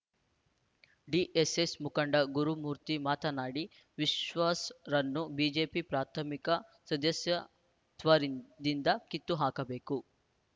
DSS ಮುಖಂಡ ಗುರುಮೂರ್ತಿ ಮಾಡನಾಡಿ ವಿಶ್ವಾಸ್‌ರನ್ನು ಬಿಜೆಪಿ ಪ್ರಾಥಮಿಕ ಸದಸ್ಯ ತ್ವದಿಂದ ಕಿತ್ತು ಹಾಕಬೇಕು